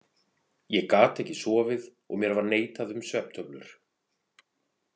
Ég gat ekki sofið og mér var neitað um svefntöflur.